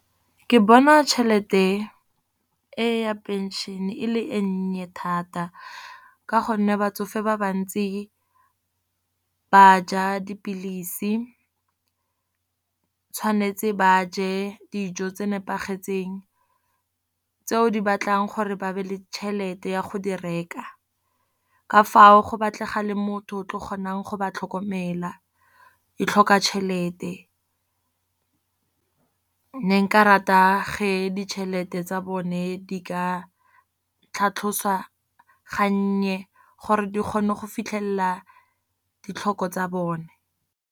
Ke bona tšhelete e ya pension e le e nnye thata. Ka gonne batsofe ba bantsi ba ja dipilisi, tshwanetse ba je dijo tse nepagetseng tseo di batlang gore ba be le tšhelete ya go di reka. Ka fao go batlega le motho o tlo kgonang go ba tlhokomela, e tlhoka tšhelete. Ne nka rata ge ditšhelete tsa bone di ka tlhatlhosiwa gannye, gore di kgone go fitlhelela ditlhoko tsa bone.